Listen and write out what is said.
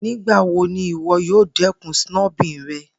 Nigbawo ni iwọ yoo dẹkun snubbing rẹ?